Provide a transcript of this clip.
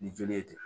Ni joli ye ten